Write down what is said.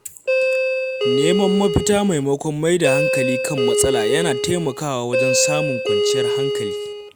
Neman mafita maimakon mai da hankali kan matsala yana taimakawa wajen samun kwanciyar hankali.